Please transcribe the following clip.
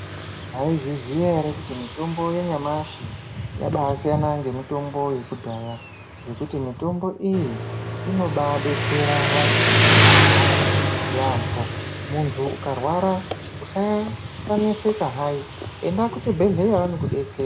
Maizviziya ere kuti mitombo yanyamashi yabasiyana ngemitombo yakudhaya. Ngekuti mutombo iyi inobebetsera vantu vabarwara yaambo muntu ukarwara usaneseka hai enda kuchibhedhleya vanokubetsera.